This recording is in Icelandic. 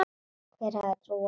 Hver hefði trúað þessu?